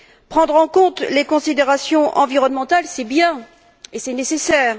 Prendre en compte les considérations environnementales, c'est bien, et c'est nécessaire